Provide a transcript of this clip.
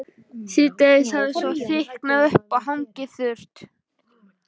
Síðdegis hafði svo þykknað upp en hangið þurrt.